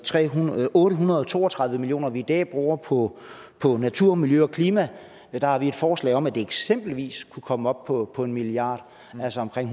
otte hundrede og to og tredive million kr vi i dag bruger på på natur og miljø og klima har vi et forslag om at det eksempelvis kunne komme op på på en milliard kr altså omkring